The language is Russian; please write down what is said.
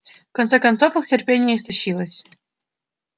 в конце концов их терпение истощилось